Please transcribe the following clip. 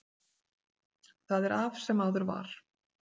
Það er af sem áður var.